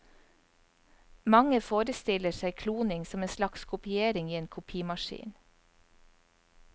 Mange forestiller seg kloning som en slags kopiering i en kopimaskin.